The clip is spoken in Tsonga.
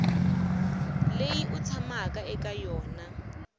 leyi u tshamaku eka yona